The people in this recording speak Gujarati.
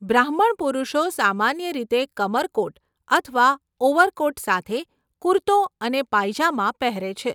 બ્રાહ્મણ પુરુષો સામાન્ય રીતે કમરકોટ અથવા ઓવરકોટ સાથે કુર્તો અને પાયજામા પહેરે છે.